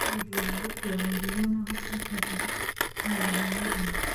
nĩ ũndũ wa gũkuua mĩrigo na gũteithia harĩ mawĩra ma ũrĩmi.